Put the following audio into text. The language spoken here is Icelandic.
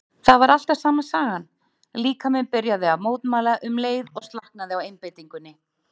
Það var alltaf sama sagan, líkaminn byrjaði að mótmæla um leið og slaknaði á einbeitingunni.